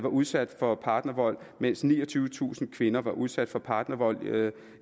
udsat for partnervold mens niogtyvetusind kvinder var udsat for partnervold